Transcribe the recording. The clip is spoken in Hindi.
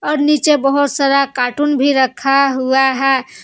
और नीचे बहोत सारा कार्टून भी रखा हुआ है।